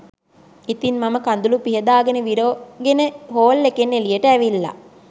ඉතිං මම කඳුළු පිහදාගෙන විරෝගෙන හෝල් එකෙන් එළියට ඇවිල්ල